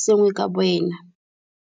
sengwe ka boena.